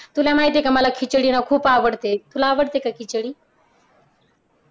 तुला माहिती आहे का मला खिचडी ना खूप आवडते. तुला आवडते का खिचडी?